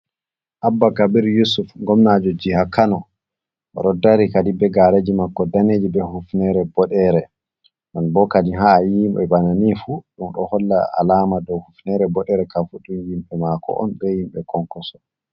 Abba kabir yusuf gomnajo jiha kano, oɗo dari kadi be gareji mako daneji be hufnere boɗere nan bo kadi ha ayi himɓe banani fuu ɗum ɗo holla alama douhufnere boɗere ka fuu ɗum yhmɓe mako on be himɓe konkoso.